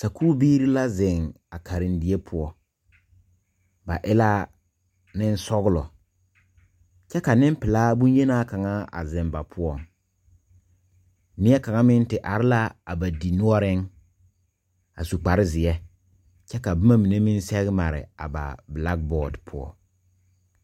Sakuu biiri la zeng a karendie puo ba e la ninsɔglo kye ka ning pelaa bunyeni kanga zeng ba pou neɛ kanga meng te arẽ la a ba dinnoɔring a su kpare zie kye ka buma mene meng sege mare a ba Black board pou.